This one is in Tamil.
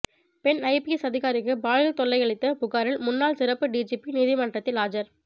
பெண் ஐபிஎஸ் அதிகாாரிக்கு பாலியல் தொல்லை அளித்த புகாரில் முன்னாள் சிறப்பு டிஜிபி நீதிமன்றத்தில் ஆஜர்